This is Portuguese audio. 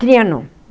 Trianon.